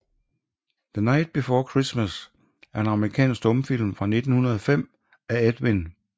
The Night Before Christmas er en amerikansk stumfilm fra 1905 af Edwin S